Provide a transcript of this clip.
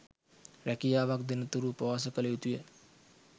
රැකියාවක් දෙන තුරු උපවාස කල යුතුය.